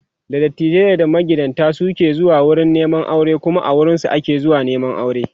da dattijai da magidanta su suke zuwa wurin Neman aure Kuma a wurinsu ake zuwa Neman aure